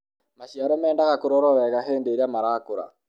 maciaro mendaga kũrorwo wega hĩndĩ ĩrĩa marakũra